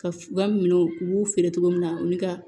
Ka u ka minɛnw u b'u feere cogo min na olu ka